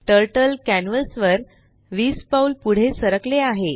turtle canvas वर 20 पाऊल पुढे सरकले आहे